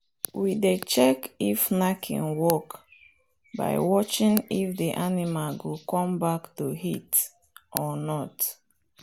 we dey check if knacking work by watching if the animal go come back to heat or not.